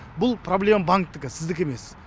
бұл проблема банктікі сіздікі емес